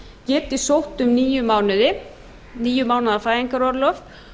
geti sótt um níu mánuði níu mánaða fæðingarorlof